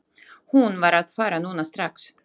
Hún var að fara núna strax.